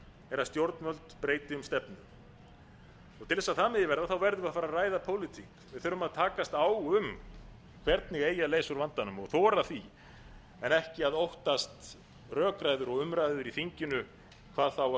er að stjórnvöld breyti um stefnu til þess að það megi verða verðum við að fara að ræða pólitík við þurfum að takast á um hvernig eigi að leysa úr vandanum og þora því en ekki að óttast rökræður og umræður í þinginu hvað þá að